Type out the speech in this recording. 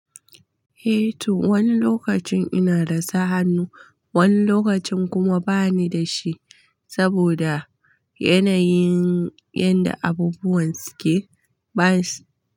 Eh to, wani lokacin ina rasa hannu, wani lokacin kuma bani da shi saboda yanayin yadda abubuwan suke, ba su.